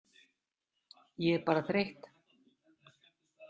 Ég er bara þreytt